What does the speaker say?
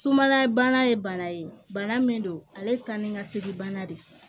Sumala bana ye bana ye bana min don ale ye taa ni ka segin bana de ye